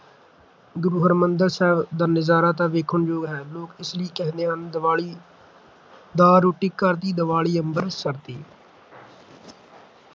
ਗੁਰੂ ਹਰਿਮੰਦਰ ਸਾਹਿਬ ਦਾ ਨਜ਼ਾਰਾ ਤਾਂ ਵੇਖਣ ਯੋਗ ਹੁੰਦਾ ਹੈ ਲੋਕ ਏਸੇ ਲਈ ਕਹਿੰਦੇ ਹਨ ਦੀਵਾਲੀ ਦਾਲ ਰੋਟੀ ਘਰ ਦੀ, ਦੀਵਾਲੀ ਅੰਮ੍ਰਿਤਸਰ ਦੀ